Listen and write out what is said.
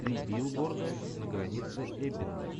три билборда на границе эббинга